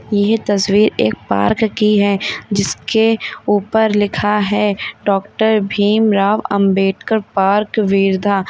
यह तस्वीर एक पार्क की है जिसके ऊपर लिखा है डॉक्टर भीमराव अंबेडकर पार्क वीरधा।